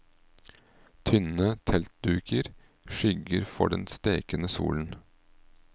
Tynne teltduker skygger for den stekende solen.